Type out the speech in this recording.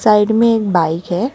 Side में एक bike है।